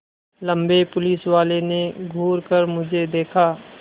लम्बे पुलिसवाले ने घूर कर मुझे देखा